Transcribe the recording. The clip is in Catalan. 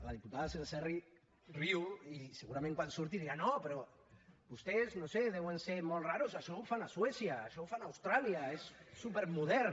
la diputada senserrich riu i segurament quan surti dirà no però vostès no ho sé deuen ser molt rars això ho fan a suècia això ho fan a austràlia és supermodern